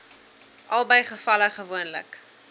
albei gevalle gewoonlik